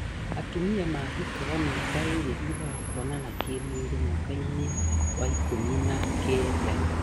Atumia mahikaga mĩaka ĩrĩ thutha wa kuonana kĩmwĩrĩ mwaka-inĩ wa ikũmi na kenda